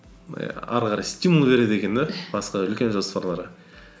әрі қарай стимул береді екен де басқа үлкен жоспарларға